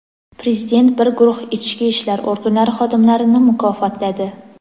Prezident bir guruh ichki ishlar organlari xodimlarini mukofotladi.